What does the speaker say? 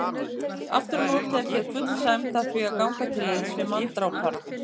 Afturámóti er þér full sæmd að því að ganga til liðs við manndrápara.